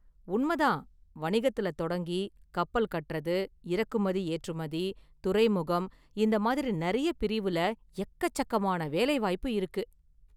உண்ம தான்! வணிகத்துல தொடங்கி, கப்பல் கட்டுறது, இறக்குமதிஏற்றுமதி, துறைமுகம் இந்த மாதிரி நெறைய பிரிவுல எக்கச்சக்கமான வேலைவாய்ப்பு இருக்கு.